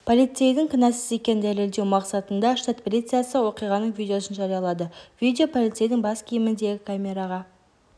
полицейдің кінәсіз екенін дәлелдеу мақсатында штат полициясы оқиғаның видеосын жариялады видео полицейдің бас киіміндегі камераға